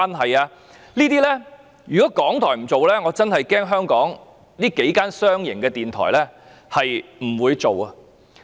這些節目如果港台不做，我恐怕香港數間商營電台也不會做。